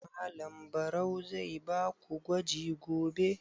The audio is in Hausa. Malam Barau zai ba ku gwaji gobe?